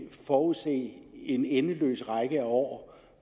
forudse en endeløs række af år